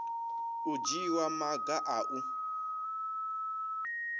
u dzhiwa maga a u